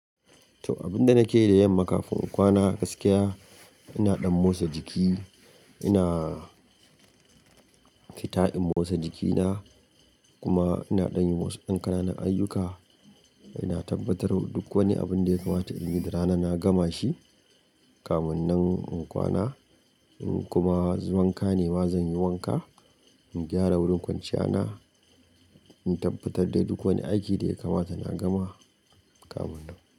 To, abin da nake yi da yamma kafin in kwana gaskiya ina ɗan motsa jiki, ina fita in motsa jikina kuma ina ɗan yi wasu ɗan ƙananan ayyuka. Ina tabbatar duk wani abin da ya kamata in yi da rana na gama shi kamun nan in kwana. In kuma wanka ne, ma zan yi wanka, in gyara wurin kwanciya na, in tabbatar da duk wani aiki da ya kamata na gama kamun nan.